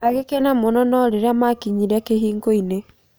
Agĩkena mũno no rĩria makinyĩre kĩhingo-inĩ.